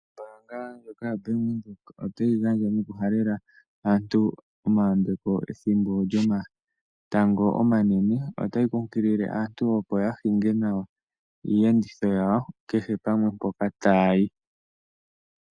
Ombaanga ndjoka yabank Windhoek otayi gandja nokuhalela aantu omayambeko ethimbo lyomatango omanene. Otayi kunkilile aantu opo yahinge nawa iiyenditho yawo kehe pamwe mpoka ta ya hi.